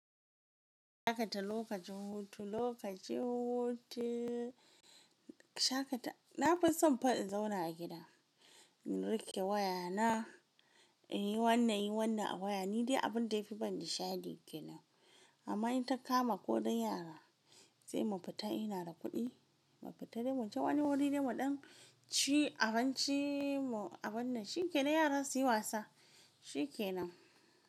Shakata lokacin hutu, lokacin hutu, shakata. Na fi son fa in zauna a gida, in riƙe wayana, in yi wannan, yi wannan a waya. Ni dai abun da yafi bani sha'adi shine ke nan. Amma in takama ko ɗan yara, sai mu fita in ina da kuɗi, mu fita dai muje wani wuri dai muɗan ci abinci mu'abunnan. Shi ke nan yaran su yi wasa, shi ke nan.